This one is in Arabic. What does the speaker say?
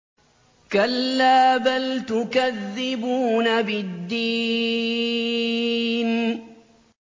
كَلَّا بَلْ تُكَذِّبُونَ بِالدِّينِ